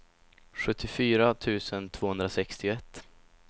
sjuttiofyra tusen tvåhundrasextioett